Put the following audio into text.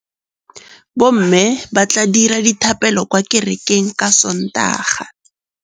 Bommê ba tla dira dithapêlô kwa kerekeng ka Sontaga.